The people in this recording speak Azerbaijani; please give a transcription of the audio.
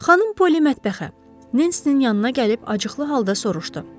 Xanım Poli mətbəxə, Nensinin yanına gəlib acıqlı halda soruşdu.